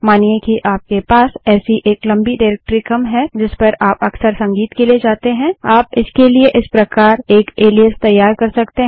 मानिए कि आपके पास ऐसी एक लम्बी डाइरेक्टरी क्रम है जिस पर आप अक्सर संगीत के लिए जाते हैं आप इसके लिए इस प्रकार एक एलाइस तैयार कर सकते हैं